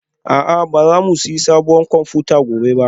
A'a ba za mu sayi sabuwar kwamfuta gobe ba